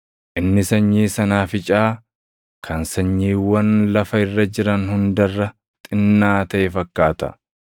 Inni sanyii sanaaficaa kan sanyiiwwan lafa irra jiran hunda irra xinnaa taʼe fakkaata.